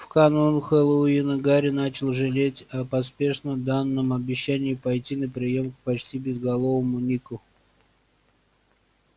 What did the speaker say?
в канун хэллоуина гарри начал жалеть о поспешно данном обещании пойти на приём к почти безголовому нику